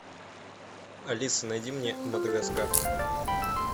алиса найди мне мадагаскар